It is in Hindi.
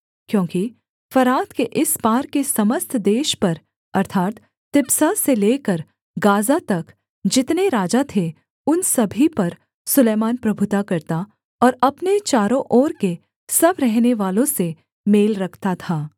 क्योंकि फरात के इस पार के समस्त देश पर अर्थात् तिप्सह से लेकर गाज़ा तक जितने राजा थे उन सभी पर सुलैमान प्रभुता करता और अपने चारों ओर के सब रहनेवालों से मेल रखता था